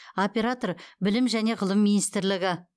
оператор білім және ғылым министрлігі